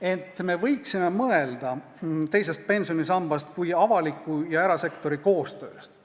Ent me võiksime mõelda teisest pensionisambast kui avaliku ja erasektori koostööst.